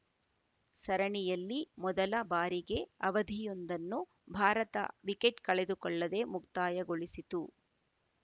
ಸರಣಿಯಲ್ಲಿ ಮೊದಲ ಬಾರಿಗೆ ಅವಧಿಯೊಂದನ್ನು ಭಾರತ ವಿಕೆಟ್‌ ಕಳೆದುಕೊಳ್ಳದೆ ಮುಕ್ತಾಯಗೊಳಿಸಿತು